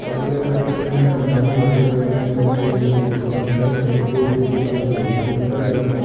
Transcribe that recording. अगले कमरे में अलमारी सफेद रंग की बनी हुई दिखी फर्श चमकते हुए दिखाई दे रही पिलर जाती --